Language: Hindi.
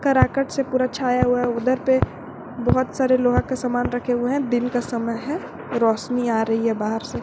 कराकट से पूरा छाया हुआ है उधर पे बहुत सारे लोहा का सामान रखे हुए हैं दिन का समय है रोशनी आ रही है बाहर से।